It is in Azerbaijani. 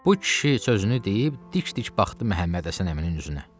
Bu kişi sözünü deyib dik-dik baxdı Məhəmməd Həsən əminin üzünə.